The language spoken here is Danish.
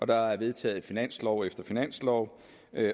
der er vedtaget finanslov efter finanslov